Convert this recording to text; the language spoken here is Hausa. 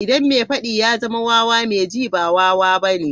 Idan mai faddi ya zama wawa, mai ji ba wawa bane